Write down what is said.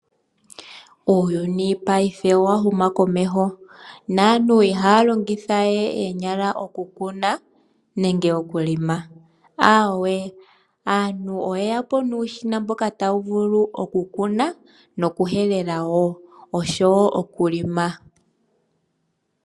Uuyuni paife owa huma komeho naantu ihaya longithawe oonyala oku kuna nenge oku helela. Awee aantu oye yapo nuushina mboka tawu vulu oku kuna noku helela.